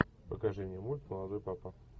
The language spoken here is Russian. покажи мне мульт молодой папа